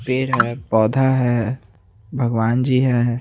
पेड़ है पौधा है भगवान् जी है।